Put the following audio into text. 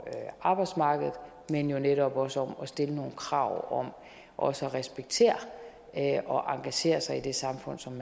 arbejdsmarkedet men jo netop også om at stille nogle krav om også at respektere og engagere sig i det samfund som